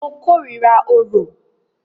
Mo kòrira orò.